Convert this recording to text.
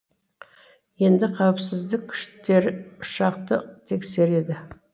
енді қауіпсіздік күштері ұшақты тексереді